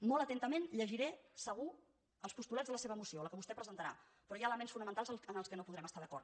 molt atentament llegiré segur els postulats de la seva moció la que vostè presentarà però hi ha elements fonamentals amb els quals no podrem estar d’acord